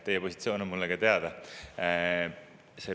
Teie positsioon on mulle teada.